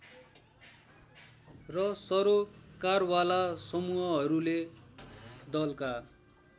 र सरोकारवाला समूहहरूले दलका